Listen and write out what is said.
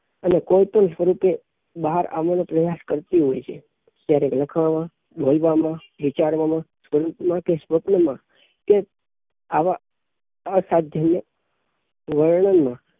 અને કોઈ પણ સ્વરૂપે બહાર આવવાં ની પ્રયાસ કરતી હોઈ છે ક્યારેક લખવામાં બોલવામાં વિચારવામાં સ્વરૂપમાં કે સ્વપ્નમાં કે આવાં અસાધ્ય ને વર્ણનમાં